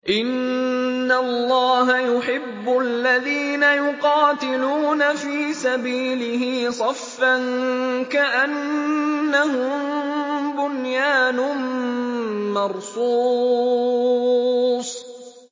إِنَّ اللَّهَ يُحِبُّ الَّذِينَ يُقَاتِلُونَ فِي سَبِيلِهِ صَفًّا كَأَنَّهُم بُنْيَانٌ مَّرْصُوصٌ